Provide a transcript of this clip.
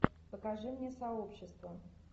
покажи мне сообщество